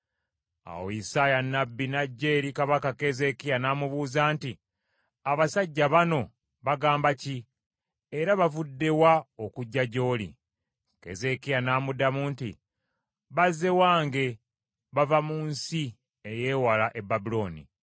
Awo Isaaya nnabbi n’ajja eri kabaka Keezeekiya n’amubuuza nti, “Abasajja banno bagamba ki? Era bavudde wa okujja gy’oli?” Keezeekiya n’amuddamu nti, “Bazze wange, bava mu nsi ey’ewala e Babulooni.”